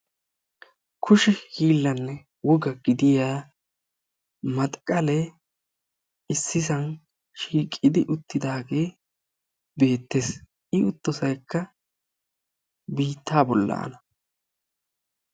Kushe hiillanne woga gidiya maxxiqale issisan shiiqidi uttidaage beettees. I uttosaykka biitta bollaana.